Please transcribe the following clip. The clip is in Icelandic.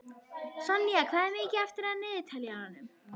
Sonja, hvað er mikið eftir af niðurteljaranum?